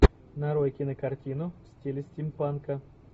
нарой кинокартину в стиле стимпанка